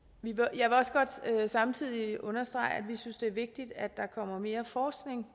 jeg vil også godt samtidig understrege at vi synes det er vigtigt at der kommer mere forskning